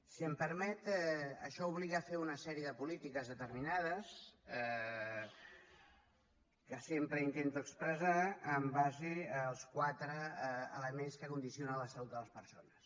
si m’ho permet això obliga a fer una sèrie de polítiques determinades que sempre intento expressar en base als quatre elements que condicionen la salut de les persones